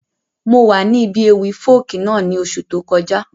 Mo wa ni ibi ewi Folk náà ni oṣú tó kọja.